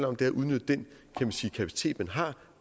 om at udnytte den kapacitet man har